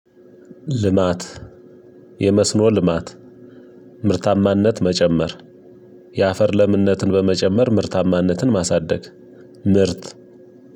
ልማት የመስኖ ልማት ምርታማነት መጨመር የአፈር ለምነትን በመጨመር ምርታማነትን ማሳደግ ምርት